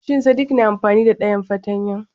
Shin sadik na amfani da dayan fartanya?